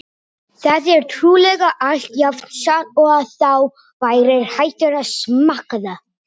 Þetta er trúlega allt jafn satt og að þú værir hættur að smakkaða!